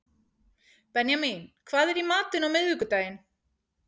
Benjamín, hvað er í matinn á miðvikudaginn?